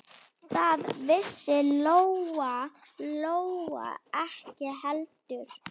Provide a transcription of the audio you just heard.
Það vissi Lóa-Lóa ekki heldur.